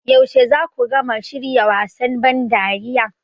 Yaushe za ku gama shirya wasan ban dariya?